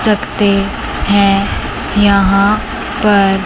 सकते हैं यहां पर--